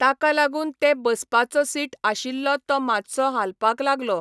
ताका लागून ते बसपाचो सीट आशिल्लो तो मातसो हालपाक लागलो.